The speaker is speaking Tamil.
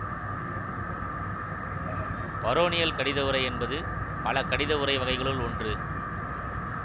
பரோனியல் கடித உறை என்பது பல கடித உறை வகைகளுள் ஒன்று